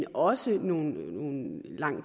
også været nogle langt